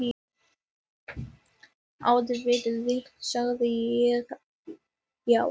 Auðvitað sagði ég já.